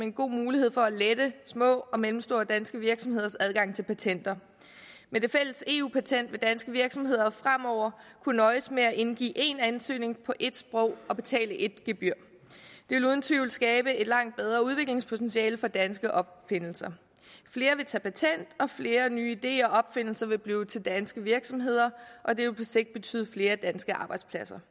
en god mulighed for at lette små og mellemstore danske virksomheders adgang til patenter med det fælles eu patent vil danske virksomheder fremover kunne nøjes med at indgive én ansøgning på ét sprog og betale ét gebyr det vil uden tvivl skabe et langt bedre udviklingspotentiale for danske opfindelser flere vil tage patent og flere nye ideer og opfindelser vil blive til i danske virksomheder og det vil på sigt betyde flere danske arbejdspladser